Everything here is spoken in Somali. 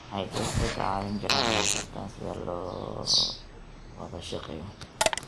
Waxay dadka ka caawin karaan inay bartaan sida loo wada shaqeeyo.